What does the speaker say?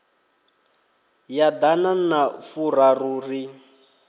ya ḓana na furaru ri